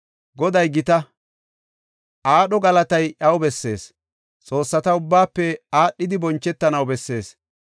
Goday gita; aadho galatay iyaw bessees; xoossata ubbaafe aadhidi bonchetanaw bessees.